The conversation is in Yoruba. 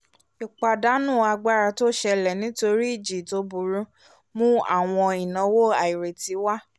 ìpàdánù agbára tó ṣẹlẹ̀ nítorí ìjì tó burú mu àwọn ìnáwó àìrètí wá